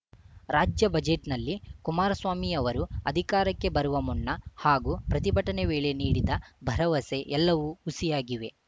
ರಾಜ್ಯ ಬಜೆಟ್‌ನಲ್ಲಿ ಕುಮಾರಸ್ವಾಮಿ ಅವರು ಅಧಿಕಾರಕ್ಕೆ ಬರುವ ಮುನ್ನ ಹಾಗೂ ಪ್ರತಿಭಟನೆ ವೇಳೆ ನೀಡಿದ ಭರವಸೆ ಎಲ್ಲವೂ ಹುಸಿಯಾಗಿವೆ